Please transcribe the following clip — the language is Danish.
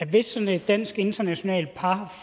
hvis sådan et dansk internationalt par